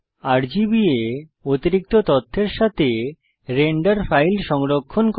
রাগবা অতিরিক্ত তথ্যের সাথে রেন্ডার ফাইল সংরক্ষণ করে